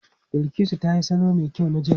Bilkisu ta yi salo mai kyau na jel.